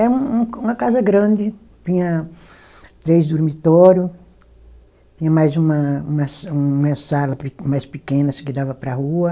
É um, uma casa grande, tinha três dormitório, tinha mais uma uma sa, uma sala mais pequena, assim, que dava para a rua.